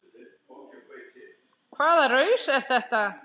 Hvaða raus er þetta?